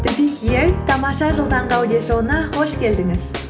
тамаша жыл таңғы аудиошоуына қош келдіңіз